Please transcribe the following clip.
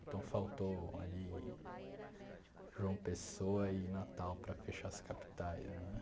Então, faltou ali João Pessoa e Natal para fechar as capitais né.